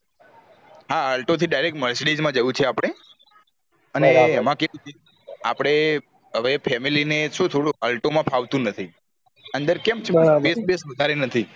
હા alto થી direct mercedes મા જાવું છે આપળે અને આપડે હવે family ને થોડું alto ફાવતું નથી અંદર space vase વધારે નહિ